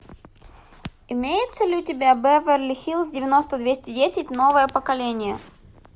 имеется ли у тебя беверли хиллз девяносто двести десять новое поколение